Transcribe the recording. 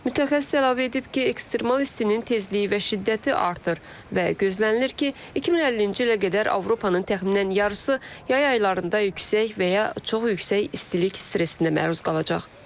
Mütəxəssis əlavə edib ki, ekstremal istinin tezliyi və şiddəti artır və gözlənilir ki, 2050-ci ilə qədər Avropanın təxminən yarısı yay ayılarında yüksək və ya çox yüksək istilik stresinə məruz qalacaq.